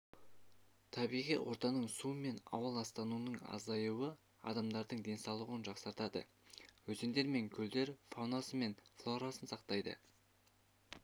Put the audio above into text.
табиғи ортаның су мен ауа ластануының азаюы адамдардың денсаулығын жақсартады өзендер мен көлдер фаунасы мен флорасын сақтайды